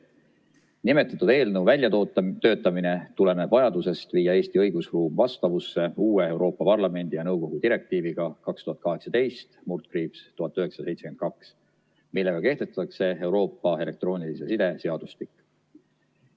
Nimetatud eelnõu väljatöötamine tuleneb vajadusest viia Eesti õigusruum vastavusse uue Euroopa Parlamendi ja nõukogu direktiiviga 2018/1972, millega kehtestatakse Euroopa elektroonilise side seadustik.